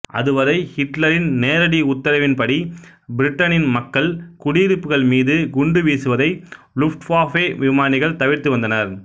அதுவரை ஹிட்லரின் நேரடி உத்தரவின்படி பிரிட்டனின் மக்கள் குடியிருப்புகள் மீது குண்டு வீசுவதை லுஃப்ட்வாஃபே விமானிகள் தவிர்த்து வந்தனர்